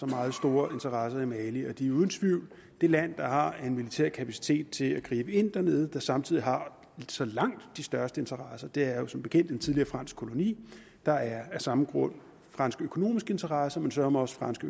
meget store interesser i mali og de er uden tvivl det land der har en militær kapacitet til at gribe ind dernede og som samtidig har så langt de største interesser det er jo som bekendt en tidligere fransk koloni der er af samme grund franske økonomiske interesser men søreme også franske